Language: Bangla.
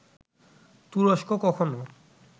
তুরস্ক কখনো